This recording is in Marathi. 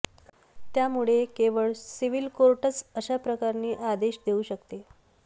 त्यामुळे केवळ सिव्हिल कोर्टच अशा प्रकरणी आदेश देऊ शकते